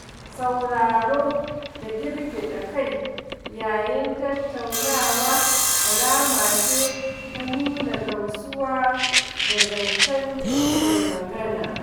Sauraro da girgiɗa kai yayin tattaunawa alama ce ta nuna gamsuwa da zancen mai magana